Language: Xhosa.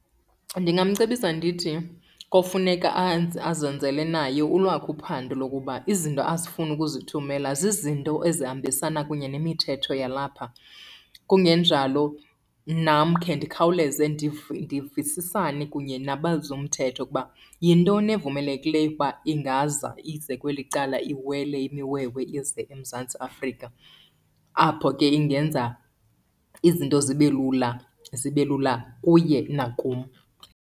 Ndingamcebisa ndithi kofuneka azenzele naye olwakhe uphando lokuba izinto azifuna ukuzithumela zizinto ezihambisana kunye nemithetho yalapha. Kungenjalo nam khe ndikhawuleze ndivisisane kunye nabezomthetho ukuba yintoni evumelekileyo ukuba ingaza ize kweli cala, iwele imiwewe ize eMzantsi Afrika, apho ke ingenza izinto zibe lula, zibe lula kuye nakum.